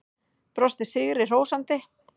Brosti sigri hrósandi.